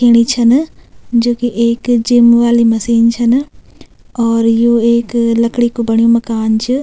खेंणी छन जो कि एक जिम वाली मशीन छन और यु एक लकड़ी कु बण्युं माकन च।